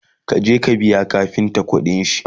ka je ka biya kafinta ƙuɗinshi!